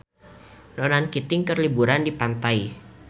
Ronan Keating keur liburan di pantai